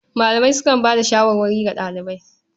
Malamai sukan bayar da shawarwari ga ɗalibai.